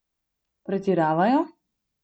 Pretiravajo?